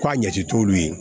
K'a ɲɛsin t'olu ye